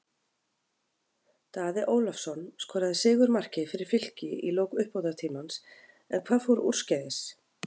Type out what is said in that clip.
Daði Ólafsson skoraði sigurmarkið fyrir Fylki í lok uppbótartímans, en hvað fór úrskeiðis?